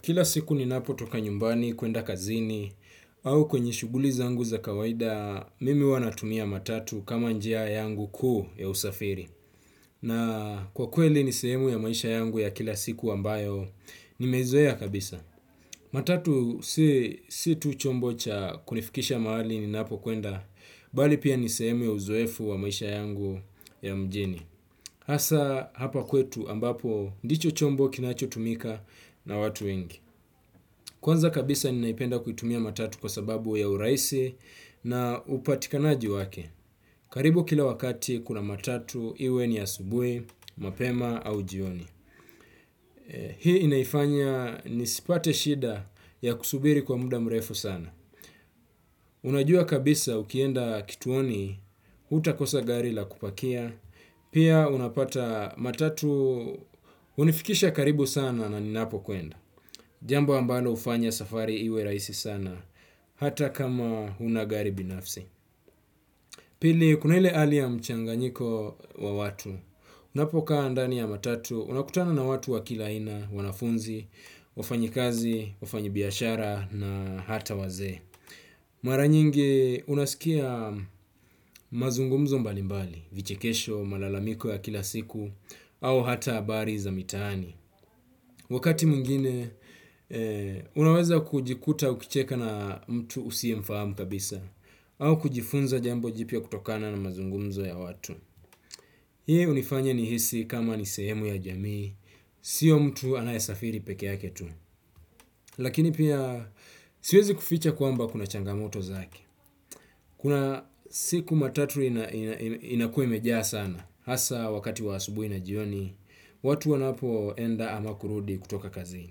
Kila siku ninapo toka nyumbani kuenda kazini au kwenye shuguli zangu za kawaida mimi huwanatumia matatu kama njia yangu ku ya usafiri. Na kwa kweli nisehemu ya maisha yangu ya kila siku ambayo nimezoea kabisa. Matatu si tu chombo cha kunifikisha mahali ninapo kuenda bali pia nisehemu ya uzoefu wa maisha yangu ya mjini. Hasa hapa kwetu ambapo ndicho chombo kinacho tumika na watu wengi. Kwanza kabisa ninaipenda kuitumia matatu kwa sababu ya urahisi na upatikanaji wake. Karibu kila wakati kuna matatu iwe ni asubui, mapema au jioni. Hii inaifanya nisipate shida ya kusubiri kwa muda mrefu sana unajua kabisa ukienda kituoni utakosa gari la kupakia pia utapata matatu unifikisha karibu sana na ninapo kwenda. Jambo ambalo ufanya safari iwe raisi sana. Hata kama una gari binafsi. Pili kuna ile hali ya mchanganyiko wa watu. Unapokaa ndani ya matatu unakutana na watu wa kila aina wanafunzi wafanyikazi, wafanyibiashara na hata wazee. Mara nyingi unasikia mazungumzo mbalimbali vichekesho, malalamiko ya kila siku au hata habari za mitani. Wakati mwngine, unaweza kujikuta ukicheka na mtu usie mfahamu kabisa au kujifunza jambo jipya kutokana na mazungumzo ya watu. Hii unifanya nihisi kama ni sehemu ya jamii, sio mtu anayasafiri peke yake tu. Lakini pia, siwezi kuficha kwamba kuna changamoto za haki. Kuna siku matatu inakuwa imejaa sana. Hasa wakati wa asubui na jioni, watu wanapo enda ama kurudi kutoka kazi.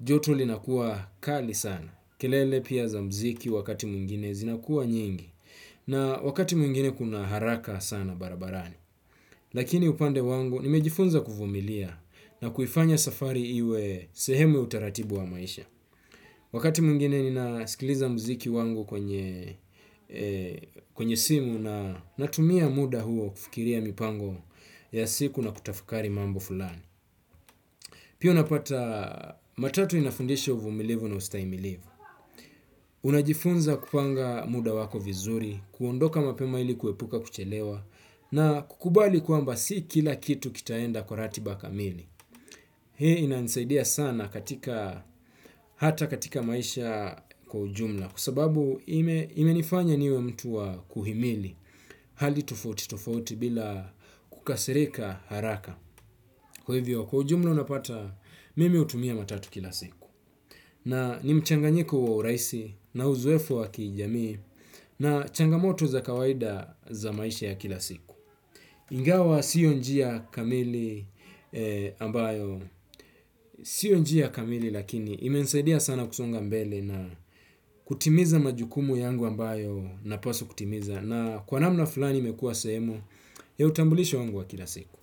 Joto linakuwa kali sana. Kilele pia za mziki wakati mwngine zinakuwa nyingi. Na wakati mungine kuna haraka sana barabarani. Lakini upande wangu nimejifunza kufumilia na kufanya safari iwe sehemu utaratibu wa maisha. Wakati mwingine ninaskiliza musiki wangu kwenye simu na natumia muda huo kufikiria mipango ya siku nakutafakari mambo fulani. Pia unapata matatu inafundisha uvumilivu na ustaimilivu. Unajifunza kupanga muda wako vizuri, kuondoka mapema ilikuepuka kuchelewa na kukubali kwamba si kila kitu kitaenda kwa ratiba kamili. Hei inanisaidia sana hata katika maisha kwa ujumla kwsababu imenifanya niwe mtu wa kuhimili hali tofauti tofauti bila kukasirika haraka. Kwa hivyo kwa ujumla unapata mimi utumia matatu kila siku. Na ni mchanganjiko wa urahisi na uzoefu wa kijami na changamoto za kawaida za maisha ya kila siku. Ingawa sio njia kamili ambayo sio njia kamili lakini imenisaidia sana kusonga mbele na kutimiza majukumu yangu ambayo ninapaswa kutimiza na kwa namana fulani imekuwa sehemu ya utambulisho wangu wa kila siku.